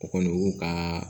O kɔni o y'u ka